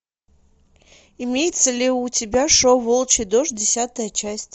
имеется ли у тебя шоу волчий дождь десятая часть